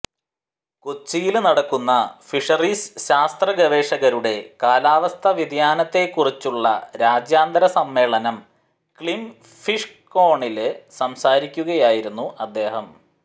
കൊച്ചിയില് നടക്കുന്ന ഫിഷറീസ് ശാസ്ത്ര ഗവേഷകരുടെ കാലാവസ്ഥാ വ്യതിയാനത്തെക്കുറിച്ചുള്ള രാജ്യാന്തര സമ്മേളനം ക്ലിം ഫിഷ്കോണില് സംസാരിക്കുകയായിരുന്നു അദ്ദേഹം